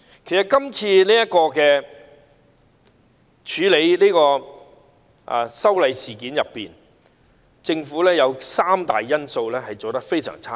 其實政府在處理這次修例事件中，當中有三大方面做得非常差。